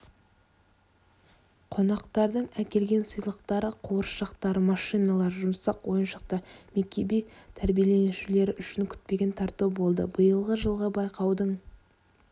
қонақтардың әкелген сыйлықтары қуыршақтар машиналар жұмсақ ойыншықтар мекеме тәрбиеленушілері үшін күтпеген тарту болды биылғы жылғы байқаудың